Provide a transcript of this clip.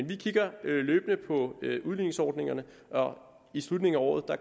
vi kigger løbende på udligningsordningerne i slutningen af året